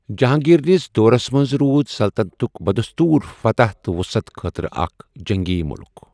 جہانٛگیٖر نِس دورس منٛز روٗد سلطنتُک بدستوُر فتح تہٕ وٗصعت خٲطرٕ اَکھ جٔنٛگی ملك ۔